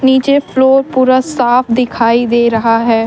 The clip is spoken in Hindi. नीचे फ्लोर पूरा साफ दिखाई दे रहा है।